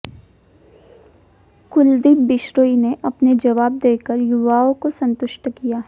कुलदीप बिश्रोई ने अपने जवाब देकर युवाओं को संतुष्ठ किया